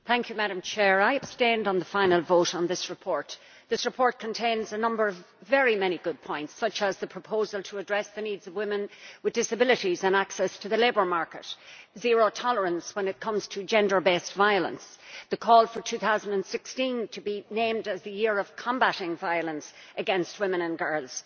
Madam President, I abstained on the final vote on this report. The report contains many good points, such as the proposal to address the needs of women with disabilities, access to the labour market, zero tolerance when it comes to gender based violence and the call for 2016 to be named as the Year of Combating Violence against Women and Girls.